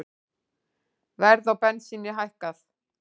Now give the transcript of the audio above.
Verð á bensíni hækkað